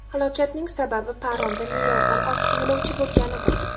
Halokatning sababi paromda me’yoridan ortiq yo‘lovchi bo‘lganidir.